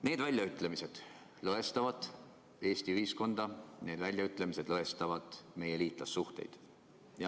" Need väljaütlemised lõhestavad Eesti ühiskonda, need väljaütlemised lõhestavad meie liitlassuhteid.